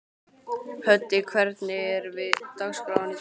Höddi, hvernig er dagskráin í dag?